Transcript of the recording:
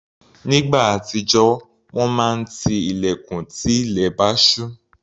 Nígbà àtijọ́, wọ́n máa ti ilẹ̀kùn tí ilẹ̀ bá ṣú.